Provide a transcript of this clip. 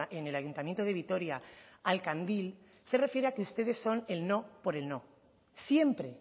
en el ayuntamiento de vitoria al candil se refiere a que ustedes son el no por el no siempre